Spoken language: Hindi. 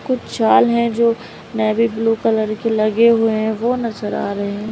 कुछ चाल है जो नेवी ब्लू कलर के लगे हुए हैं वो नजर आ रहे हैं।